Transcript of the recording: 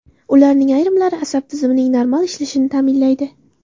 Ularning ayrimlari asab tizimining normal ishlashini ta’minlaydi.